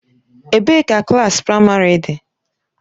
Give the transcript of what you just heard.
Ebee ka klaasị praịmarị dị?